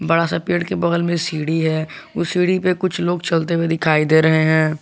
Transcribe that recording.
बड़ा सा पेड़ के बगल में सीढ़ी है उस सीढ़ी पे कुछ लोग चलते हुए दिखाई दे रहे हैं।